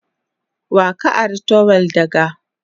Wa ka ari trowel daga?